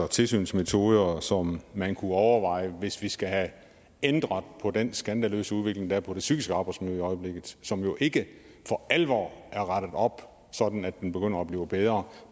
tilsynsmetoder som man kunne overveje hvis vi skal have ændret på den skandaløse udvikling der er på det psykiske arbejdsmiljø i øjeblikket som jo ikke for alvor er rettet op sådan at den begynder at blive bedre